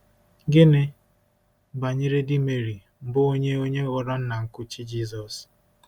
Gịnị banyere di Meri, bụ́ onye onye ghọrọ nna nkuchi Jisọs?